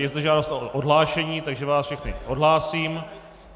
Je zde žádost o odhlášení, takže vás všechny odhlásím.